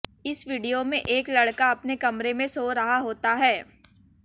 इस वीडियो में एक लड़का अपने कमरे में सो रहा होता है